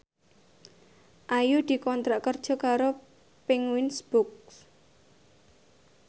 Ayu dikontrak kerja karo Penguins Books